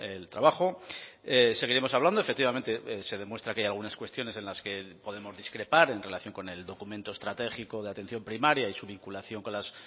el trabajo seguiremos hablando efectivamente se demuestra que hay algunas cuestiones en las que podemos discrepar en relación con el documento estratégico de atención primaria y su vinculación con las